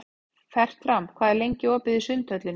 Fertram, hvað er lengi opið í Sundhöllinni?